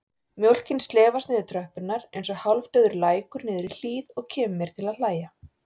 Mjólkin slefast niður tröppurnar einsog hálfdauður lækur niður hlíð og kemur mér til að hlæja.